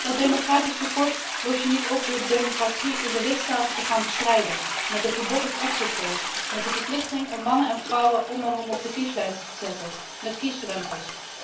Dat democratisch tekort los je niet op door democratie in de lidstaten te gaan bestrijden met een verbod op exitpolls, met de verplichting om mannen en vrouwen om en om op de kieslijst te zetten, met kiesdrempels.